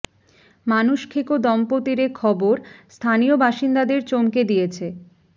মানুষ খেকো দম্পতির এ খবর স্থানীয় বাসিন্দাদের চমকে দিয়েছে